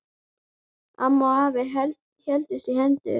Amma og afi héldust í hendur.